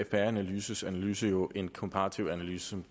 analyses analyse jo en komparativ analyse som